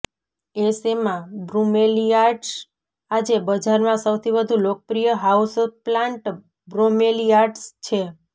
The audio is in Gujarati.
એશેમા બ્રુમેલીયાડ્સ આજે બજારમાં સૌથી વધુ લોકપ્રિય હાઉસપ્લાન્ટ બ્રોમેલીયાડ્સ છે